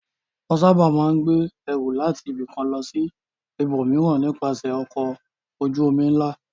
Wọ́n sábà máa ń gbé ẹrù láti ibìkan lọ sí ibòmíràn nípasẹ̀ ọkọ̀ ojú-omi ńlá.